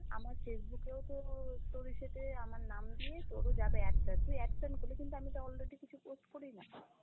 আমার Facebook এও তো তোর ইসে তে আমার নাম দিয়ে, তোর ও যাবে add friend, তুই add friend করলি কিন্তু আমি তো already কিছু post করিনা।